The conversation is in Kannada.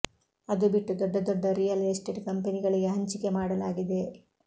ಅದು ಬಿಟ್ಟು ದೊಡ್ಡ ದೊಡ್ಡ ರಿಯಲ್ ಎಸ್ಟೇಟ್ ಕಂಪೆನಿಗಳಿಗೆ ಹಂಚಿಕೆ ಮಾಡಲಾಗಿದೆ